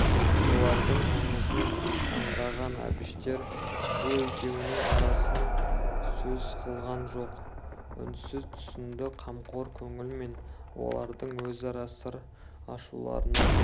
солардың аңызын аңдаған әбіштер бұл екеуінің арасын сөз қылған жоқ үнсіз түсінді қамқор көңілмен олардың өзара сыр ашуларына